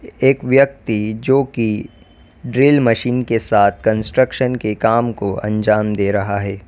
एक व्यक्ति जो की ड्रिल मशीन के साथ कंस्ट्रक्शन के काम को अंजाम दे रहा है।